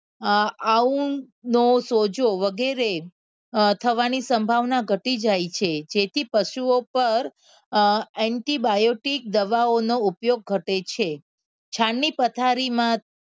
આ ઉડનો સોજો વગેરે થવાની સંભાવના ઘટી જાય છે. જેથી પશુઓ ઉપર એન્ટિબાયોટિક દવાઓનો ઉપયોગ ઘટે છે છાણની પથારીમાં